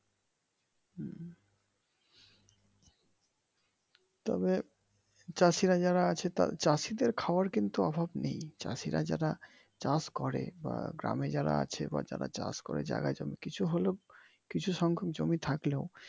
তবে চাষিরা যারা আছে চাষিদের খাবার কিন্তু অভাব নেই চাষিরা যারা চাষ করে বা গ্রামে যারা আছে বা যারা চাষ করে জায়গা জমি কিছু হলেও কিছু সংখ্যক জমি থাকলেও।